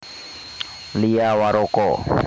Lia Waroka